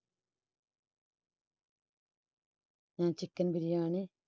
ആ chicken biriyani